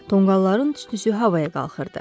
Tonqalların tüstüsü havaya qalxırdı.